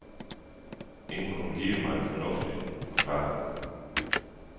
Ingen kunne give mig en fornuftig forklaring.